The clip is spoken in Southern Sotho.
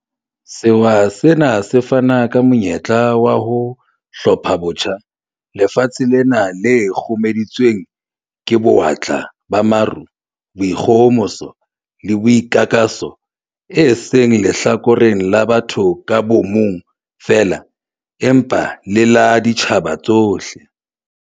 Sewa sena se fana ka monyetla wa ho 'hlophabotjha' lefatshe lena le kgurumeditsweng ke bo-watla ba maruo, boikgohomoso le boikakaso e seng lehlakoreng la batho ka bomong feela, empa le la ditjhaba tsohle.